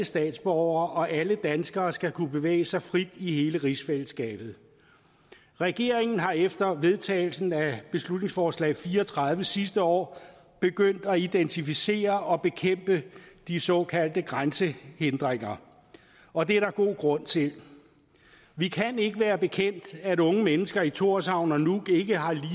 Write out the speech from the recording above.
statsborgere og alle danskere skal kunne bevæge sig frit i hele rigsfællesskabet regeringen er efter vedtagelsen af beslutningsforslag b fire og tredive sidste år begyndt at identificere og bekæmpe de såkaldte grænsehindringer og det er der god grund til vi kan ikke være bekendt at unge mennesker i thorshavn og nuuk ikke har